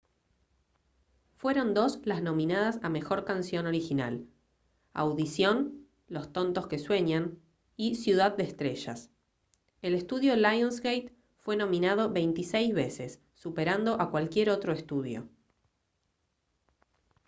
fueron dos las nominadas a mejor canción original: audición los tontos que sueñan y ciudad de estrellas. el estudio lionsgate fue nominado 26 veces superando a cualquier otro estudio